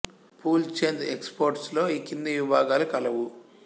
pool Chand exports లో ఈ క్రింది విభాగాలు కలవు